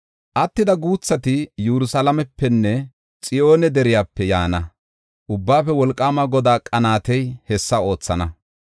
Attida guuthati Yerusalaamepenne Xiyoone deriyape yaana. Ubbaafe Wolqaama Godaa qanaatey hessa oothana.